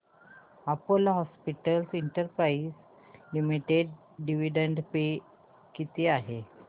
Apollo hospitals enterprise limited dividend pay किती आहे